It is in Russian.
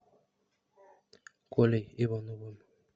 колей ивановым